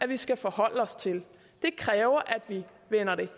vi skal forholde os til det kræver at vi vender det